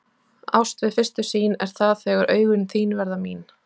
Ást við fyrstu sýn er það þegar augun þín verða mín.